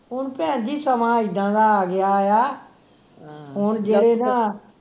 ਹੁਣ ਭੈਣ ਜੀ ਸਮਾਂ ਇੱਦਾਂ ਦਾ ਆ ਗਿਆ ਆ ਹੁਣ ਜਿਹੜੇ ਨਾ